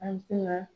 An tɛ na